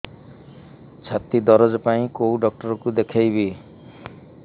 ଛାତି ଦରଜ ପାଇଁ କୋଉ ଡକ୍ଟର କୁ ଦେଖେଇବି